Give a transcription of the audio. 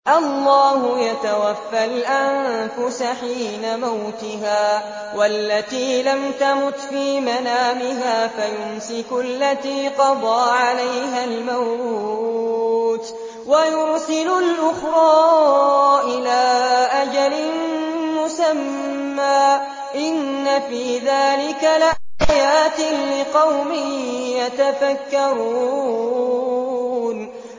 اللَّهُ يَتَوَفَّى الْأَنفُسَ حِينَ مَوْتِهَا وَالَّتِي لَمْ تَمُتْ فِي مَنَامِهَا ۖ فَيُمْسِكُ الَّتِي قَضَىٰ عَلَيْهَا الْمَوْتَ وَيُرْسِلُ الْأُخْرَىٰ إِلَىٰ أَجَلٍ مُّسَمًّى ۚ إِنَّ فِي ذَٰلِكَ لَآيَاتٍ لِّقَوْمٍ يَتَفَكَّرُونَ